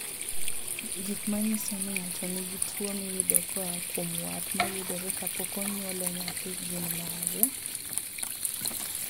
Gik manyiso ni ng'ato nigi tuo miyudo koa kuom wat mayudore kapok onywole nyathi gin mage?